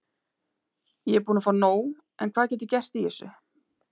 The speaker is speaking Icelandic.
Ég er búinn að fá nóg en hvað get ég gert í þessu?